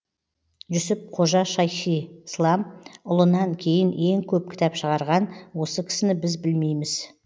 жүсіп қожа шайхислам ұлынан кейін ең көп кітап шығарған осы кісіні біз білмейміз